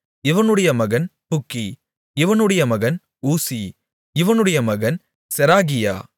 இவனுடைய மகன் புக்கி இவனுடைய மகன் ஊசி இவனுடைய மகன் செராகியா